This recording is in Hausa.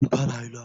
Kin fara haila?